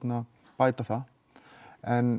bæta það en